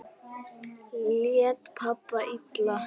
Lét pabbi illa?